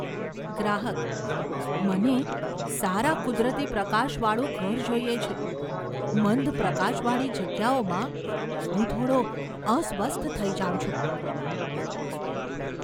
ગ્રાહકઃ "મને સારા કુદરતી પ્રકાશવાળું ઘર જોઈએ છે, મંદ પ્રકાશવાળી જગ્યાઓમાં હું થોડો અસ્વસ્થ થઈ જાઉં છું".